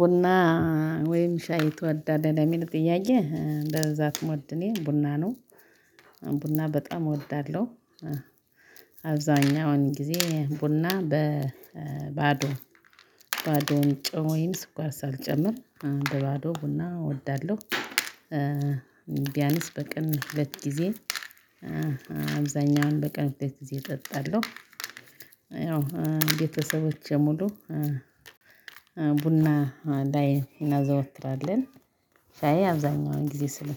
ቡና ወይም ሻይ ትወዳለህ ለሚል ጥያዬ በብዛት የምወደው እኔ ቡና ነው። ቡና በጣም እወዳለሁ። አብዛኛውን ጊዜ ቡና በባዶ ባዶ ጨው ወይም ስኳር ሳልጨምር እ በ ባዶ ቡና እወዳለሁ። እ ቢያንስ በቀን ሁለት ጊዜ እ አብዛኛውን በቀን ሁለት ጊዜ እጠጣለሁ። ያው ቤተሰቦቼ ሙሉ እ ቡና ላይ እናዘወትራለን። ሻይ አብዛኛውን ጊዜ ስል።